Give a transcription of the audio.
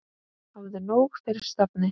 Hafðu nóg fyrir stafni.